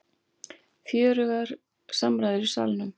Fjörugur umræður í Salnum